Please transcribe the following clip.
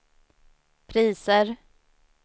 priser